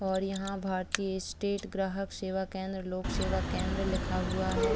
और यहाँ भारतीय स्टेट ग्राहक सेवा केंद्र लोक सेवा केंद्र लिखा हुआ है।